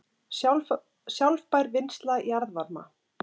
Sjálfbær vinnsla jarðvarma